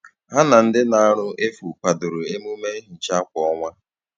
Ha na ndị na - arụ efu kwadoro emume nhicha kwa ọnwa